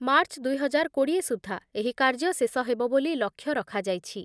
March ଦୁଇ ହଜାର କୋଡ଼ିଏ ସୁଦ୍ଧା ଏହି କାର୍ଯ୍ୟ ଶେଷ ହେବ ବୋଲି ଲକ୍ଷ୍ୟ ରଖାଯାଇଛି ।